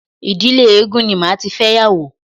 Ìdílé eégún ni màá tí fẹ́yàwó.